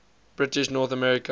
british north america